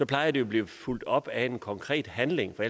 plejer at blive fulgt op af en konkret handling for